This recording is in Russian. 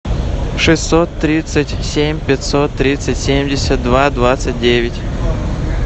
шестьсот тридцать семь пятьсот тридцать семьдесят два двадцать девять